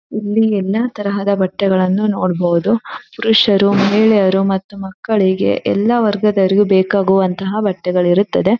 ಇಲ್ಲಿ ಎಲ್ಲಾ ತರಹದ ಬಟ್ಟೆಗಳನ್ನು ನೋಡಬಹುದು ಪುರುಷರು ಮಹಿಳೆಯರು ಮತ್ತು ಮಕ್ಕಳಿಗೆ ಎಲ್ಲಾ ವರ್ಗದವರಿಗೂ ಬೇಕಾಗುವಂತಹ ಬಟ್ಟೆಗಳು ಇರುತ್ತದೆ.